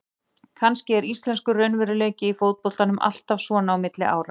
Kannski er íslenskur raunveruleiki í fótboltanum alltaf svona á milli ára.